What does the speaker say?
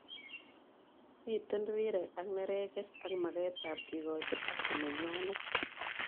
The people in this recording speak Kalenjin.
Miten rireek ak neregek ak maket ab kikochi haki nenywanet